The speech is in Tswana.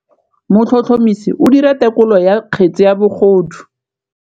Motlhotlhomisi o dira têkolô ya kgetse ya bogodu.